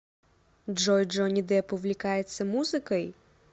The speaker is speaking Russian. джой джонни депп увлекается музыкой